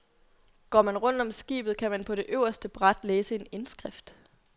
Går man rundt om skibet, kan man på det øverste bræt læse en indskrift.